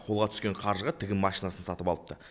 қолға түскен қаржыға тігін машинасын сатып алыпты